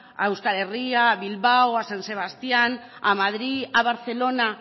a euskal herria a bilbao a san sebastián a madrid a barcelona